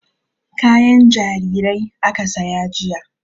Kayan jarirai aka saya jiya.